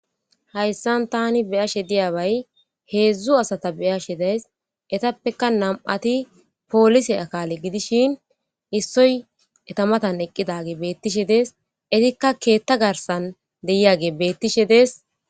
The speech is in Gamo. hayssan tani beyashe diyabay heedzdzu asata beyashe days etappeka nam7ati poolise akale gidishin issoy etamatan eqqidage beettishe dees etikka keetta garsan deyiyage beettishe dees